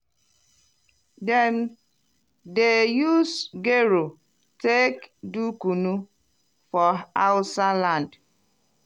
dem dey use gero take do kunu for hausa land.